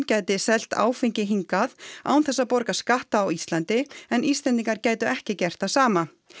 geti selt áfengi hingað án þess að borga skatta á Íslandi en Íslendingar gætu ekki gert það sama